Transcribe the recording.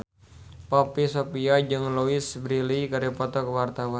Poppy Sovia jeung Louise Brealey keur dipoto ku wartawan